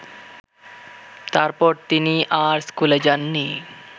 তারপর তিনি আর স্কুলে যাননি